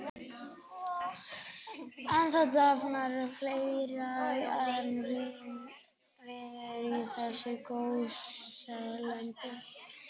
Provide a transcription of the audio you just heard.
En það dafnar fleira en vínviður í þessu gósenlandi.